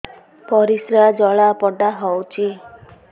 ପରିସ୍ରା ଜଳାପୋଡା ହଉଛି